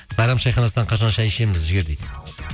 сайрам шайханасынан қашан шай ішеміз жігер дейді